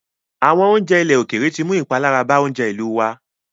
Àwọn oúnjẹ ókéré tí ń mú ìpalára bàa oúnjẹ ìlú wá.